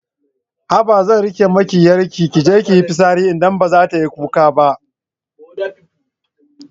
Haba zan riƙe miki 'yarki kije kiyi fitsari idan baza tayi kuka ba